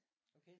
Okay